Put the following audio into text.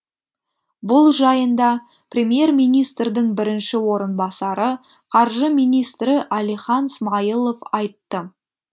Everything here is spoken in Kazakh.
бұл жайында премьер министрдің бірінші орынбасары қаржы министрі әлихан смайылов айтты